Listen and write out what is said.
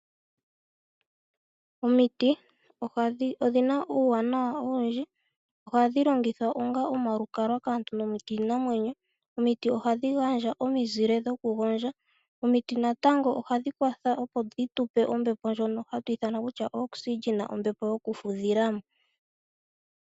Omiti odhina uuwanawa owindji. Ohadhi longithwa onga omalukalwa kaantu nokiinamwenyo. Omiti ohadhi gandja omizile dhokugondja. Omiti ohadhi kwatha opo dhi tu pe ombepo yokufudhila mo.